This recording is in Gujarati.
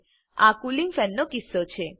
આ કુલીંગ ફેનનો કિસ્સો છે